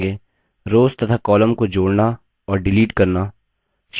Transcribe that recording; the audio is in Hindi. रोव्स तथा columns को जोड़ना और डिलीट करना